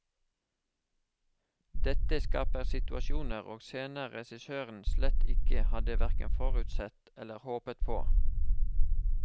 Dette skaper situasjoner og scener regissøren slett ikke hadde hverken forutsett eller håpet på.